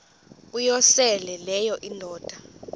uyosele leyo indoda